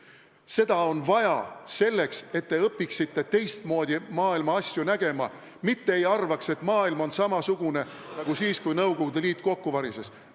Seda on vaja selleks, et te õpiksite teistmoodi maailma asju nägema, mitte ei arvaks, et maailm on samasugune nagu siis, kui Nõukogude Liit kokku varises.